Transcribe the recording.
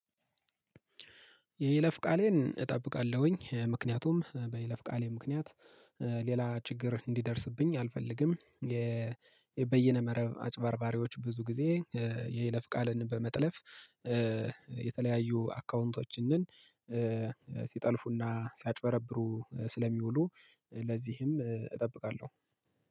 የይለፍ ቃሌን እጠብቃለሁኝ ምክንያቱም በይለፍ ቃሌ ምክንያት ሌላ ችግር እንዲደርስብኝ አልፈልግም። በየነመረብ አጭባርባሪዎች ብዙ ጊዜ የይለፍ ቃልን በመጥለፍ። የተለያዩ አካዉንቶችን ሲጠልፉና ሲያጭበረብሩ ስለሚውሉ ለዚህም እጠብቃለሁ።